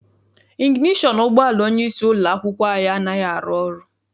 Iginetọn ụgbọala onyeisi ụlọ akwụkwọ anyị anaghị arụ ọrụ.